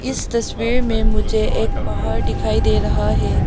इस तस्वीर में मुझे एक पहाड़ दिखाई दे रहा है।